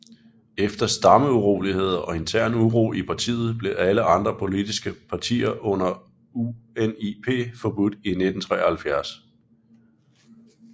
Efter stammeuroligheder og intern uro i partiet blev alle andre politiske partier end UNIP forbudt i 1973